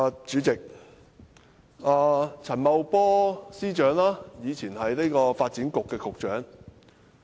主席，陳茂波司長以前是發展局局長。